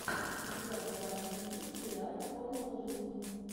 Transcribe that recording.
у тебя в загашнике есть сериал формула жизни